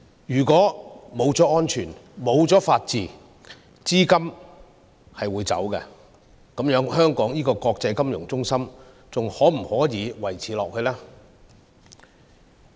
如果沒有安全、沒有法治，資金便會流走，這樣的話，香港這個國際金融中心能否維持下去呢？